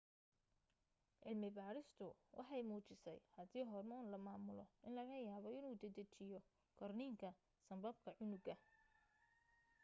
cilmi baadhistiisu waxay muujisay haddii hormoon la maamulo in laga yaabo inuu dedejiyo korniinka sanbabka cunuga